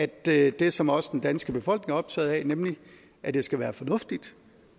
det det som også den danske befolkning er optaget af nemlig at det skal være fornuftigt